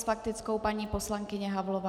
S faktickou paní poslankyně Havlová.